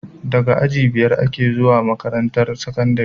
Daga aji biyar ake zuwa makarantar sakandari